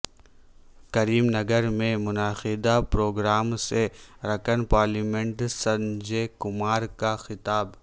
کریم نگرمیں منعقدہ پروگرام سے رکن پارلیمنٹ سنجے کمار کا خطاب